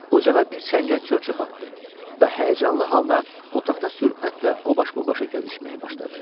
Ocağa bir çəngə çör-çöp atdı və həyəcanlı halda otaqda sürətlə o baş-bu başa gəzişməyə başladı.